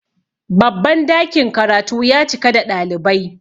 babban dakin karatu ya cika da ɗalibai